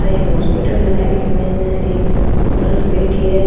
आ एक हॉस्पिटल है इक माइन एक नर्स बैठी है।